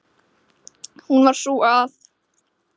Hún var sú að